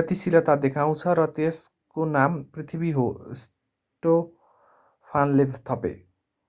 गतिशीलता देखाउँछ र यसको नाम पृथ्वी हो स्टोफानले थपे